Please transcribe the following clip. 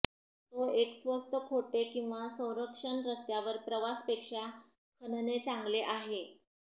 तो एक स्वस्त खोटे किंवा संरक्षण रस्त्यावर प्रवास पेक्षा खणणे चांगले आहे